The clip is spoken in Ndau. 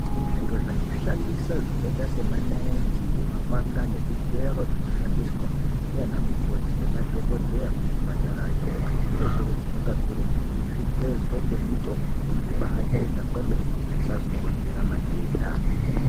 Zviro zvekushandisa zvakaita sema naiti, mapanga nezvigero zvinoshandiswa ndiana mukhoti nemadhokodhaya kuzvipatarayo, zvinokurudzirwa kakurutu kuti zvigezwe ngemitombo zvibaachena kwemene zvisazokonzera matenda.